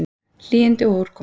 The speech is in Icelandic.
Hlýindi og úrkoma